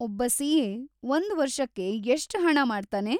ಒಬ್ಬ ಸಿ.ಎ. ಒಂದ್‌ ವರ್ಷಕ್ಕೆ ಎಷ್ಟ್ ಹಣ ಮಾಡ್ತಾನೆ?